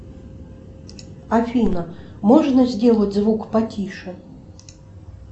афина можно сделать звук потише